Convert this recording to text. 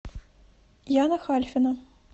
яна хальфина